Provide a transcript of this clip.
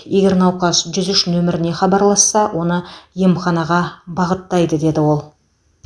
егер науқас жүз үш нөміріне хабарласса оны емханаға бағыттайды деді ол